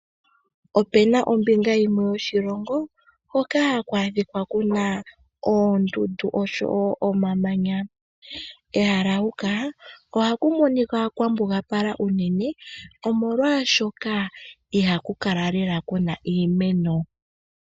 Ope na ombinga yimwe yoshilongo hoka haku adhika ku na oondundu osho wo omamanya. Kehala huka ohaku monika kwa mbugapala unene, omolwashoka ihaku kala lela ku na iimeno.